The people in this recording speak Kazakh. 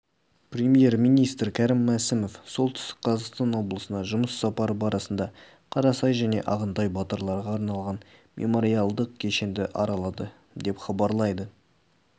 премьер-министр кәрім мәсімов солтүстік қазақстан облысына жұмыс сапары барысында қарасай және ағынтай батырларға арналған мемориалдық кешенді аралады деп хабарлайды